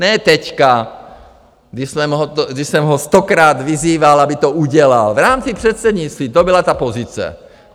Ne teď, když jsem ho stokrát vyzýval, aby to udělal, v rámci předsednictví, to byla ta pozice!